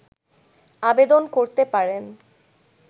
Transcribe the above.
আবেদন করতে পারেন